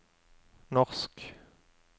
norsk